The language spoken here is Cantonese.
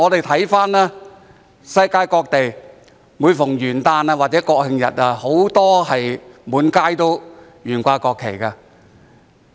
環顧世界各地，每逢元旦或國慶日，很多時均滿街懸掛國旗。